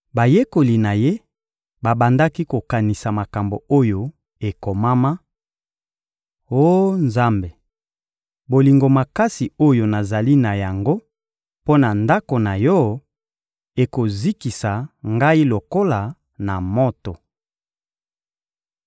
Bayekoli na Ye babandaki kokanisa makambo oyo ekomama: «Oh Nzambe, bolingo makasi oyo nazali na yango mpo na Ndako na Yo ekozikisa ngai lokola na moto!»